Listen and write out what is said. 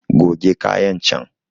Goge kayan can